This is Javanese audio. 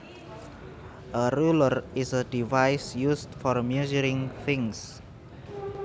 A ruler is a device used for measuring things